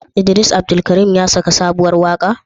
Idris Abdulkarim ya saki sabuwar waƙa?